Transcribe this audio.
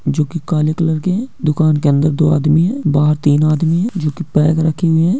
जो के काले कलर के है दुकान के अंदर दो आदमी है बहार तीन आदमी है जो के बैग रखे हुए है।